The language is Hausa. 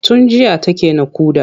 Tun jiya take naƙuda.